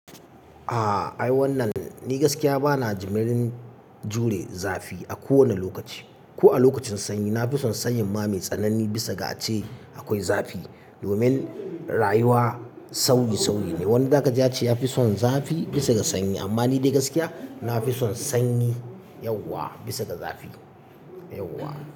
Ah ai wannan ni gaskiya bana jimirin jure zafi a kowane lokaci. Ko a lokacin sanyi nafison sanyin ma mai tsanani bisa ga ace akwai zafi domin rayuwa sauyi sauyi ne. Wani dakji ya ce yafi son zafi bisa ga sanyi amma ni dai gaskiya nafison sanyi yauwa bisa ga zafi, yauwa.